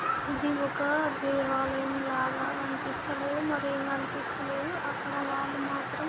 ఇది ఒక దేవాలయం లాగా అనిపిస్తలేదు.మరి ఏమి గనిపిస్తలేదు. అక్కడ వాళ్ళు మాత్రం--